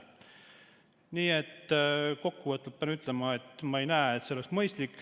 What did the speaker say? Nii et kokkuvõtlikult pean ütlema, et ma ei näe, et see oleks mõistlik.